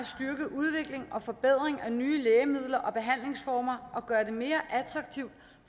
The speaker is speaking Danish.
udvikling og forbedring af nye lægemidler og behandlingsformer og gøre det mere attraktivt